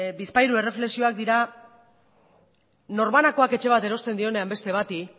bizpahiru erreflexioak dira norbanakoak etxe bat erosten dionean beste bati